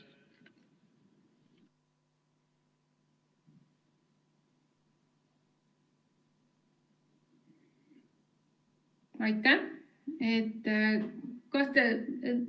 Aitäh!